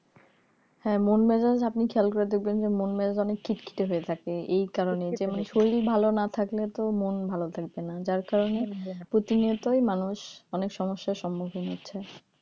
হ্যাঁ মন মেজাজ আপনি খেয়াল করে দেখবেন যে মন মেজাজ অনেক খিট খেতে হয়ে থাকে এই কারণেই যে মানে শরীর ভালো না থাকলে তো মন ভালো থাকবে না যার কারণে প্রতিনিয়তই মানুষ অনেক সমস্যার সম্মুখীন হচ্ছে